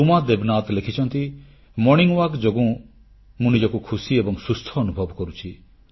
ରୁମା ଦେବନାଥ ଲେଖିଛନ୍ତି ପ୍ରାତଃ ଭ୍ରମଣ ଯୋଗୁଁ ମୁଁ ନିଜକୁ ଖୁସି ଏବଂ ସୁସ୍ଥ ଅନୁଭବ କରୁଛି